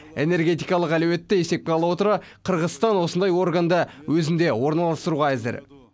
энергетикалық әлеуетті есепке ала отыра қырғызстан осындай органды өзінде орналастыруға әзір